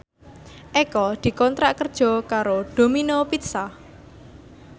Eko dikontrak kerja karo Domino Pizza